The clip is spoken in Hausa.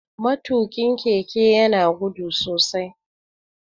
Matukin keke ya na gudu sosai.